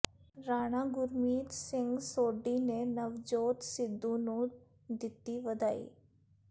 ਰਾਣਾ ਗੁਰਮੀਤ ਸਿੰਘ ਸੋਢੀ ਨੇ ਨਵਜੋਤ ਸਿੱਧੂ ਨੂੰ ਦਿੱਤੀ ਵਧਾਈ